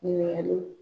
Ɲininkaliw